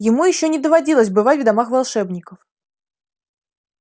ему ещё не доводилось бывать в домах волшебников